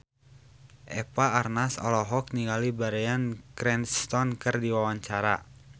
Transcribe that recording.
Eva Arnaz olohok ningali Bryan Cranston keur diwawancara